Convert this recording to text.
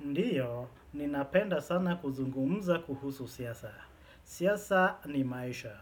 Ndiyo, ninapenda sana kuzungumza kuhusu siasa. Siasa ni maisha.